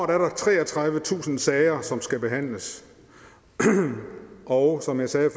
der treogtredivetusind sager som skal behandles og som jeg sagde